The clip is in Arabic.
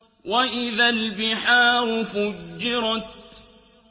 وَإِذَا الْبِحَارُ فُجِّرَتْ